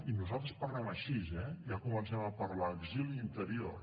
i nosaltres parlem així eh ja comencem a parlar d’exili i interior